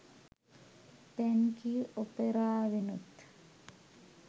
thank you ඔපෙරාවෙනුත්